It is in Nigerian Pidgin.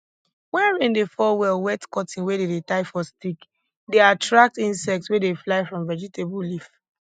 wen rain dey fall well wet cotton wey dey dey tie for stick dey attract insects wey dey fly from vegetable leaf